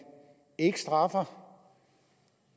ikke straffer